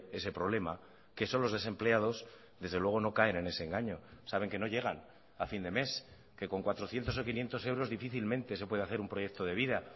ese problema que son los desempleados desde luego no caen en ese engaño saben que no llegan a fin de mes que con cuatrocientos o quinientos euros difícilmente se puede hacer un proyecto de vida